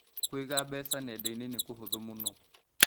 Kũiga mbeca nenda-inĩ nĩ kũhũthũ mũno.